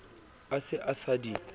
a se a sa di